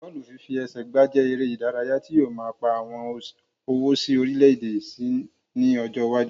Bọ́ọ̀lù fífi ẹsẹ gbà jẹ èrè ìdárayá tí yóò máa pà owó sí orílè èdè síi ní ọjọ iwájú